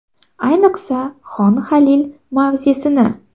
Ayniqsa, Xon Halil mavzesini.